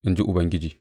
in ji Ubangiji.